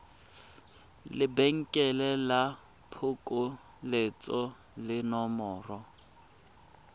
lebenkele la phokoletso le nomoro